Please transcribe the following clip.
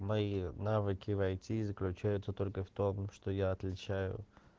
мои навыки в айти заключаются только в том что я отличаю